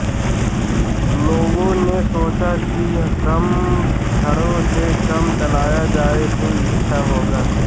लोगों ने सोचा कि कम छड़ों से काम चलाया जाए तो अच्छा होगा